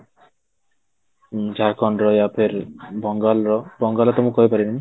ଝାରଖଣ୍ଡର ବଙ୍ଗାଲର ବଙ୍ଗାଲ ର ତ ମୁଁ କହିପାରିବିନି